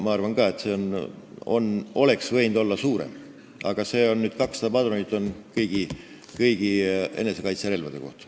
Ma arvan ka, et see arv oleks võinud olla suurem, aga see 200 padrunit käib kõigi enesekaitserelvade kohta.